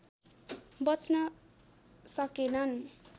बच्न सकेनन्